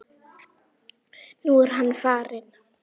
Nú er hann farinn.